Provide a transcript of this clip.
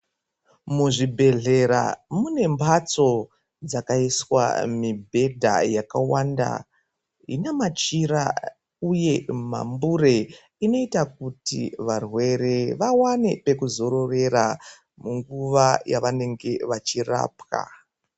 Muzvibhedhlera mune mbatso dzakaiswa mibhedha yakawanda ine machira uye mambure inoita kuti varwere vawane pekuzorera mungava yavanenge vachirapwa.